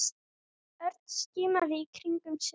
Örn skimaði í kringum sig.